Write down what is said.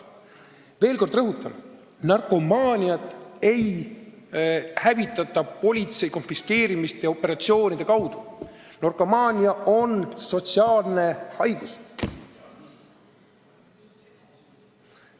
Veel kord rõhutan: narkomaaniat ei hävitata politsei konfiskeerimiste ja operatsioonide abil, narkomaania on sotsiaalne haigus.